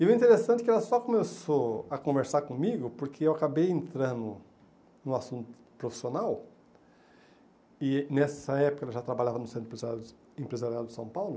E o interessante é que ela só começou a conversar comigo porque eu acabei entrando no assunto profissional e, nessa época, ela já trabalhava no Centro Empresa Empresarial de São Paulo,